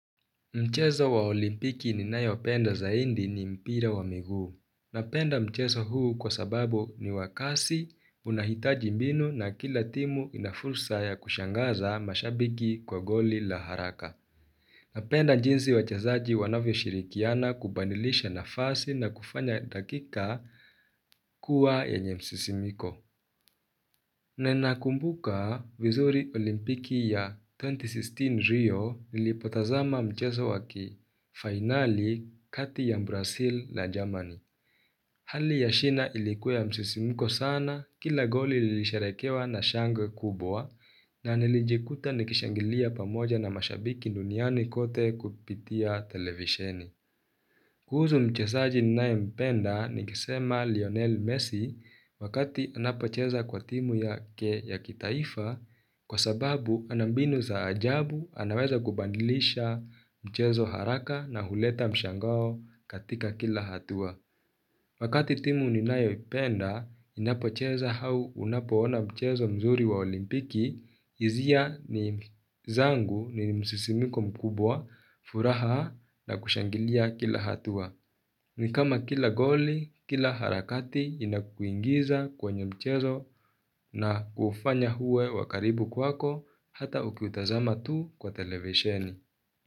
Mchezo wa olimpiki ninayopenda zaindi ni mpira wa miguu. Napenda mchezo huu kwa sababu ni wa kasi unahitaji mbinu na kila timu ina fursa ya kushangaza mashabiki kwa goli la haraka. Napenda jinsi wachezaji wanavyo shirikiana kubadilisha nafasi na kufanya dakika kuwa yenye msisimiko. Nenakumbuka vizuri olimpiki ya 2016 Rio nilipotazama mchezo wa ki finali kati ya Mbrasil la Jamani. Hali ya shina ilikuwa ya msisimko sana kila goli lilisherehekewa na shangwe kubwa na nilijikuta nikishangilia pamoja na mashabiki nduniani kote kupitia televisheni. Kuhuzu mchesaji ninaempenda nikisema Lionel Messi wakati anapocheza kwa timu yake ya kitaifa kwa sababu ana mbinu za ajabu anaweza kubandilisha mchezo haraka na huleta mshangao katika kila hatua. Wakati timu ninayoipenda, inapocheza hau unapoona mchezo mzuri wa olimpiki, izia ni zangu ni msisimiko mkubwa, furaha na kushangilia kila hatua. Ni kama kila goli, kila harakati inakuingiza kwenye mchezo na kufanya huwe wa karibu kwako hata ukiutazama tu kwa televisioni.